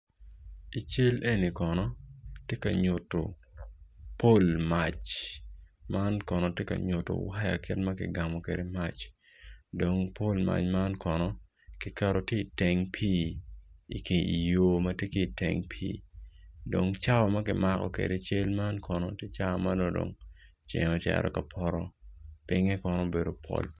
I cal eni kono tye ka nyuto pol mac man kono tye ka nyuto waya kit ma kigamo kede mac dong pol mac man kono ki keto ki teng pi ki i yo matye iteng pi dong cawa ma kimako kede cal man kono tye cal marono ceng ocito kapoto pinge kono obedo poto.